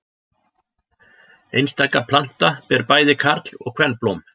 Einstaka planta ber bæði karl- og kvenblóm.